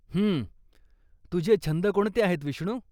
हं, तुझे छंद कोणते आहेत विष्णू?